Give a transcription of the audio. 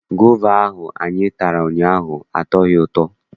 Gova ahụ anyị tara ụnyaahụ atọghị ụtọ.